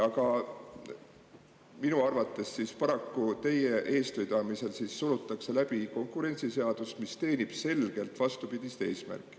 Aga minu arvates paraku teie eestvedamisel surutakse läbi konkurentsiseadust, mis teenib selgelt vastupidist eesmärki.